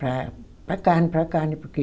Para para a carne, para a carne, porque...